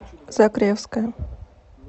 закревская